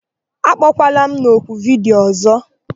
Akpọkwala m oku vidiyo ọ̀zọ́!